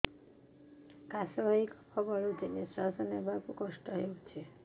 କାଶ ହେଇ କଫ ଗଳୁଛି ନିଶ୍ୱାସ ନେବାକୁ କଷ୍ଟ ହଉଛି